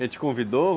Ele te convidou?